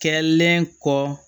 Kɛlen kɔ